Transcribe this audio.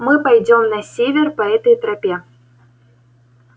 мы пойдём на север по этой тропе